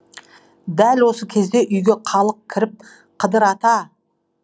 дәл осы кезде үйге халық кіріп қыдыр ата